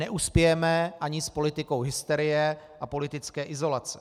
Neuspějeme ani s politikou hysterie a politické izolace.